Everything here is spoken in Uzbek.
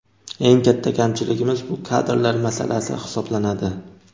Eng katta kamchiligimiz bu kadrlar masalasi hisoblanadi.